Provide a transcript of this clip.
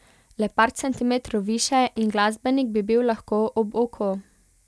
Le par centimetrov više in glasbenik bi bil lahko ob oko.